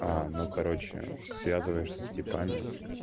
а ну короче связываешься с типами